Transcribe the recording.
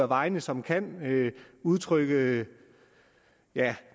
vegne som kan udtrykke